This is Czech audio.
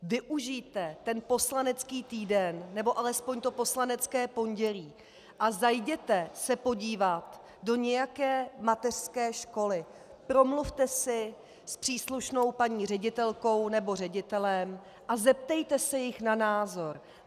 Využijte ten poslanecký týden, nebo alespoň to poslanecké pondělí a zajděte se podívat do nějaké mateřské školy, promluvte si s příslušnou paní ředitelkou nebo ředitelem a zeptejte se jich na názor.